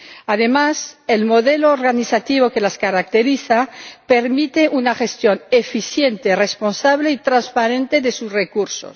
Además, el modelo organizativo que las caracteriza permite una gestión eficiente, responsable y transparente de sus recursos.